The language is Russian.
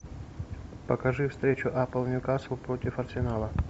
покажи встречу апл ньюкасл против арсенала